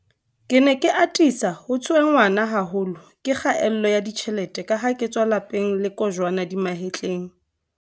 Ke ne ke atisa ho tshwe-nngwa haholo ke kgaello ya ditjhelete kaha ke tswa lelape ng le kojwana di mahetleng.